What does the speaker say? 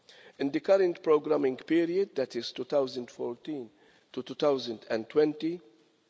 In the current programing period that is 2014 to 2020 EUR